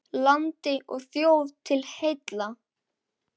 Landi og þjóð til heilla!